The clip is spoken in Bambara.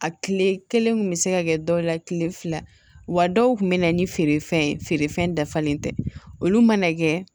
A tile kelen kun bɛ se ka kɛ dɔw la tile fila wa dɔw tun bɛ na ni feerefɛn ye feerefɛn dafalen tɛ olu mana kɛ